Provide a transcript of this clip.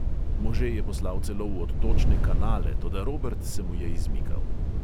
Može je poslal celo v odtočne kanale, toda robert se mu je izmikal.